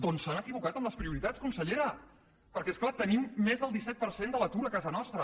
doncs s’han equivocat amb les prioritats consellera perquè és clar tenim més del disset per cent de l’atur a casa nostra